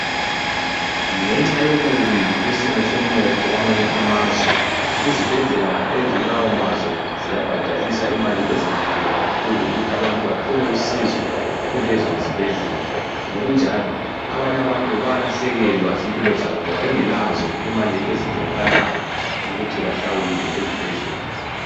Ngenxa yobubi besimo somnotho kwamanye amazwe izibhedlela ezikulawo mazwe ziyabhadalisa imali ezinkulu kakhulu ukuthi abantu bathole usizo kulezo zibhedlela . Ngokunjalo abanye abantu bayalahlekelwa zimpilo zabo ngoba bengelazo imali ezidingakalayo ukuthi bahlawule ezibhedlela.